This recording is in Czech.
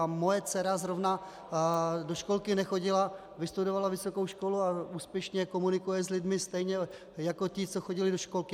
A moje dcera zrovna do školky nechodila, vystudovala vysokou školu a úspěšně komunikuje s lidmi stejně jako ti, co chodili do školky.